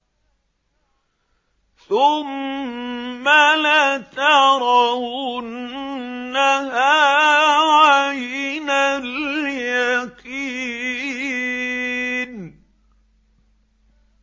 ثُمَّ لَتَرَوُنَّهَا عَيْنَ الْيَقِينِ